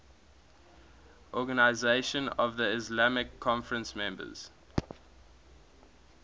organisation of the islamic conference members